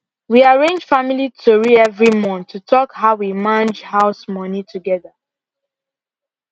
we arrange family tori every month to talk how we mange house money together